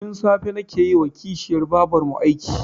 Tun safe nake yi wa kishiyar babarmu aiki